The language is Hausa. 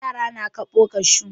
Yara na kaɓo kashu.